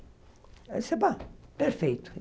Aí eu disse, pá, perfeito.